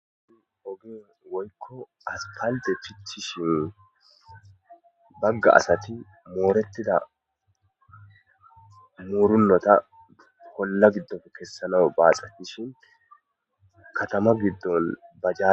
Oge woyko asphalte pitishe baga asati mooretida muuronota olla gidoppe kesanawu baaxetiahn katama gidon bajaje ...